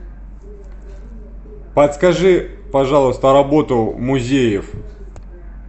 подскажи пожалуйста работу музеев